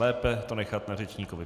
Lépe to nechat na řečníkovi.